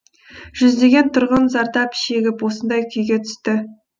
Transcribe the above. жүздеген тұрғын зардап шегіп осындай күйге түсті